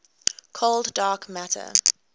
cold dark matter